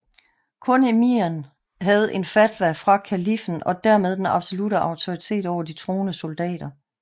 Kun emiren havde en fatwa fra kaliffen og dermed den absolutte autoritet over de troende soldater